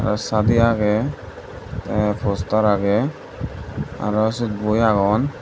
tey sadi agey tey poster agey aro syot boi agon.